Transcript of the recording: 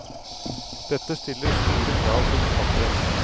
Dette stiller store krav til forfatteren.